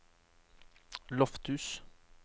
Lofthus